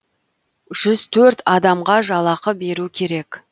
жүз төрт адамға жалақы беру керек